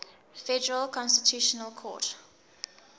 federal constitutional court